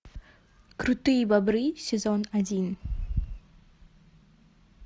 крутые бобры сезон один